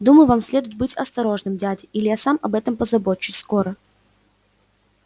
думаю вам следует быть осторожным дядя или я сам об этом позабочусь скоро